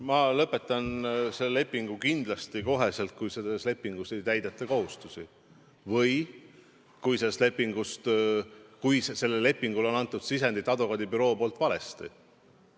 Ma lõpetan selle lepingu kindlasti kohe, kui ei täideta selles lepingus kirjas olevaid kohustusi või kui selle lepingu sõlmimisel on advokaadibüroo sisendi valesti andnud.